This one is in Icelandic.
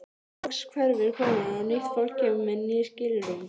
Loks hverfur konan og nýtt fólk kemur með ný skilrúm.